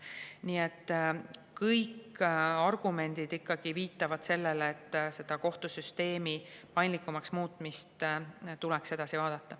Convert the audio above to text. Nii et kõik argumendid ikkagi viitavad sellele, et kohtusüsteemi paindlikumaks muutmist tuleks edasi vaadata.